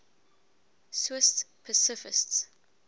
swiss pacifists